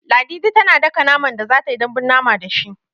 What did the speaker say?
Ladidi tana daka naman da za ta yi dambun mama da shi.